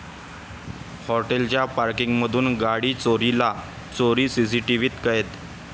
हॉटेलच्या पॉर्किंगमधून गाडी चोरीला, चोरी सीसीटीव्हीत कैद